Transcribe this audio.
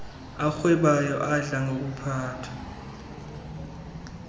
arhwebayo adla ngokuphathwa